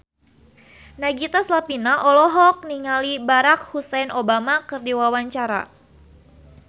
Nagita Slavina olohok ningali Barack Hussein Obama keur diwawancara